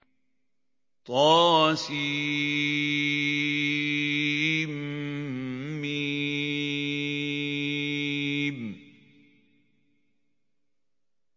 طسم